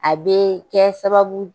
A bee kɛ sababu